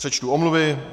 Přečtu omluvy.